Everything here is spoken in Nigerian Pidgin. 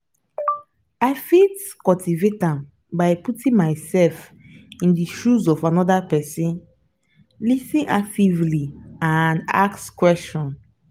i fit cultivate am by putting myself in di shoes of anoda pesin lis ten actively and ask question.